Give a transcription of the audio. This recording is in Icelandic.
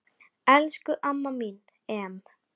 Elsku amma mín Em.